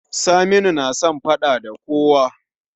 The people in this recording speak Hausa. Saminu na son faɗa da kowa